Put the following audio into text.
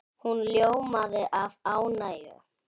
Hún ljómaði af ánægju.